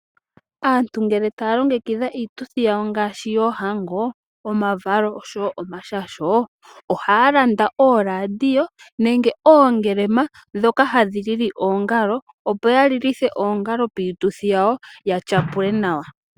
Aantu ngele taya longekidha iituthi yawo ngaashi yoohango, omavalo oshowo omashasho ohaya landa ooradio nenge oongelema ndhoka hadhi lili oongalo, opo ya lilithe oongalo piituthi yawo ya tya pule nawa.